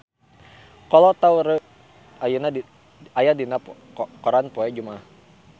Kolo Taure aya dina koran poe Jumaah